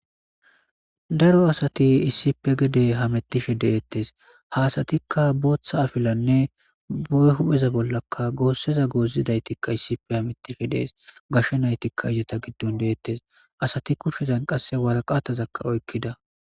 Daro asati issipe gede hamittishe deettes haasatikka booththa afilanne bo7e hupheza bollaka goosseza goozidaytikka issipe hamittishe dees gashshe naytikka ijata giddon deettes asati kushshezan qasse waraqatazakka oykkida